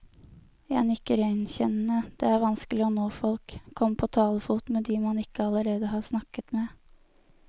Jeg nikker gjenkjennende, det er vanskelig å nå folk, komme på talefot med de man ikke allerede har snakket med.